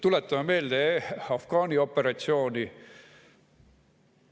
Tuletame meelde Afganistani operatsiooni.